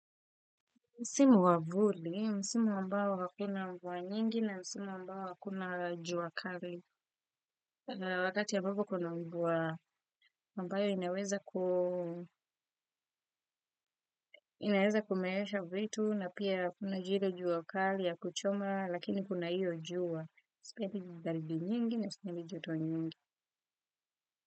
Msimu wa vuli, msimu ambao hakuna mvua nyingi na msimu ambao hakuna jua kali. Wakati ambapo kuna mvua ambayo inaweza ku inaweza kumeesha vitu na pia kuna jiru jua kali ya kuchoma lakini kuna hiyo jua. Sipendi baridi nyingi na sipendi joto nyingi.